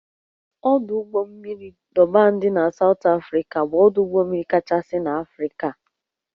Ọdụ ụgbọ mmiri Dọban dị na Sawt Afrịka bụ ọdụ ụgbọ mmiri kachasị n'Afrịka